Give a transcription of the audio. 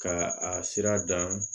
Ka a sira dan